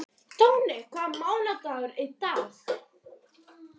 Tói, hvaða mánaðardagur er í dag?